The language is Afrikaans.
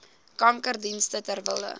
kankerdienste ter wille